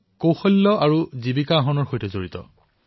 হিমায়ৎ দৰাচলতে দক্ষতা বিকাশ আৰু কৰ্ম সংস্থাপনৰ সৈতে জড়িত বিষয়